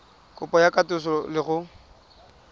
kopo ya katoloso le go